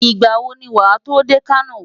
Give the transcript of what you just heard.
Ìgbà wo ni wàá tó dé Kano?